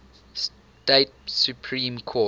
state supreme court